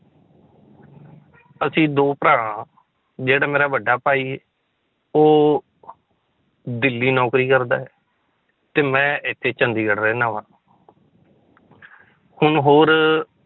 ਅਸੀਂ ਦੋ ਭਰਾ ਜਿਹੜਾ ਮੇਰਾ ਵੱਡਾ ਭਾਈ ਉਹ ਦਿੱਲੀ ਨੌਕਰੀ ਕਰਦਾ ਹੈ, ਤੇ ਮੈਂ ਇੱਥੇ ਚੰਡੀਗੜ੍ਹ ਰਹਿਨਾ ਵਾਂ ਹੁਣ ਹੋਰ